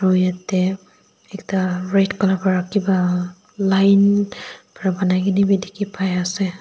moi yatae ekta red colour pra kipa line pra banai kaena bi dikhipaiase.